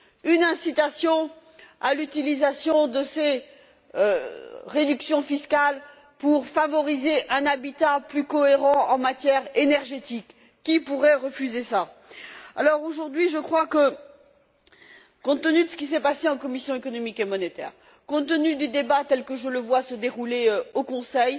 Une incitation à l'utilisation de ces réductions fiscales pour favoriser un habitat plus cohérent en matière énergétique, qui pourrait refuser cela? Aujourd'hui, compte tenu de ce qui s'est passé au sein de la commission économique et monétaire, compte tenu du débat tel que je le vois se dérouler au Conseil,